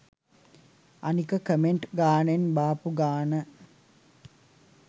අනික කමෙන්ට් ගාණෙන් බාපු ගාණ